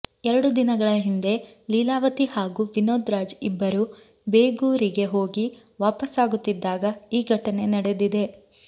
ಎರಡು ದಿನಗಳ ಹಿಂದೆ ಲೀಲಾವತಿ ಹಾಗೂ ವಿನೋದ್ ರಾಜ್ ಇಬ್ಬರೂ ಬೇಗೂರಿಗೆ ಹೋಗಿ ವಾಪಸ್ಸಾಗುತ್ತಿದ್ದಾಗ ಈ ಘಟನೆ ನಡೆದಿದೆ